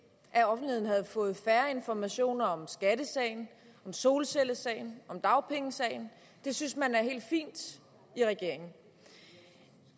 at offentligheden havde fået færre informationer om skattesagen om solcellesagen om dagpengesagen det synes man er helt fint i regeringen